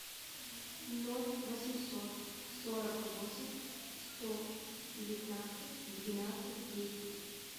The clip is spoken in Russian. ноль восемьсот сорок восемь сто девятнадцать двенадцать десять